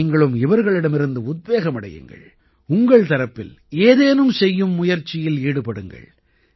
நீங்களும் இவர்களிடமிருந்து உத்வேகமடையுங்கள் உங்கள் தரப்பில் ஏதேனும் செய்யும் முயற்சியில் ஈடுபடுங்கள்